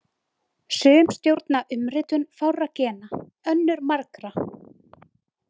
Sum stjórna umritun fárra gena, önnur margra.